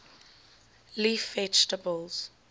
leaf vegetables